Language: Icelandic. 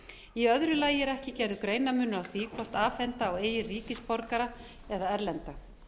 í öðru lagi er er ekki gerður greinarmunur á því hvort afhenda á eigin ríkisborgara eða erlenda